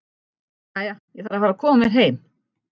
Jæja, ég þarf að fara að koma mér heim